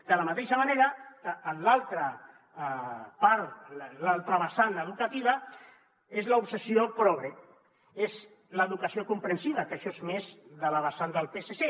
de la mateixa manera que en l’altra part l’altra vessant educativa és l’obsessió progre és l’educació comprensiva que això és més de la vessant del psc